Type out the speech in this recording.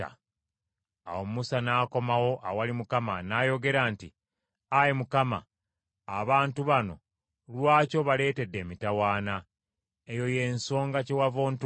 Awo Musa n’akomawo awali Mukama , n’ayogera nti, “Ayi Mukama, abantu bano lwaki obaleetedde emitawaana? Eyo y’ensonga kyewava ontuma?